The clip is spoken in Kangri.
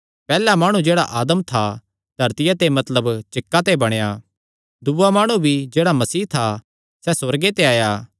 पैहल्ला माणु जेह्ड़ा आदम था धरतिया ते मतलब चिक्का ते बणाया दूआ माणु भी जेह्ड़ा मसीह था सैह़ सुअर्गे ते आया